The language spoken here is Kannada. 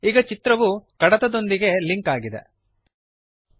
ಈಗ ಚಿತ್ರವು ಕಡತದೊಂದಿಗೆಫೈಲ್ ನೊಂದಿಗೆ ಲಿಂಕ್ ಆಗಿದೆ